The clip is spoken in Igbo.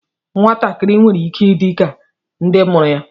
Nwatakịrị nwere ike ịdị ka ndị mụrụ ya